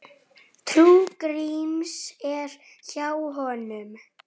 Hvað heitir þú aftur?